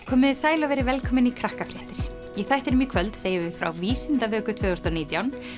komiði sæl og verið velkomin í í þættinum í kvöld segjum við frá Vísindavöku tvö þúsund og nítján